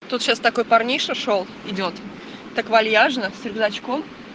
тут сейчас такой парниша шёл идёт так вальяжно с рюкзачком